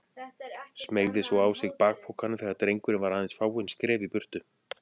Smeygði svo á sig bakpokanum þegar drengurinn var aðeins fáein skref í burtu.